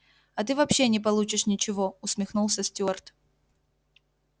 а ты вообще не получишь ничего усмехнулся стюарт